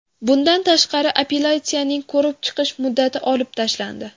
Bundan tashqari apellyatsiyaning ko‘rib chiqish muddati olib tashlandi.